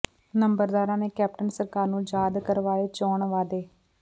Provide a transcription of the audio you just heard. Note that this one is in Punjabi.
ਨੰਬਰਦਾਰਾਂ ਨੇ ਕੈਪਟਨ ਸਰਕਾਰ ਨੂੰ ਯਾਦ ਕਰਵਾਏ ਚੋਣ ਵਾਅਦੇ